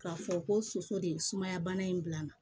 K'a fɔ ko soso de ye sumaya bana in bila n na